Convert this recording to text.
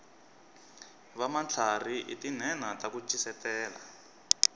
vamatlharhi i tinhenha taku ncisetela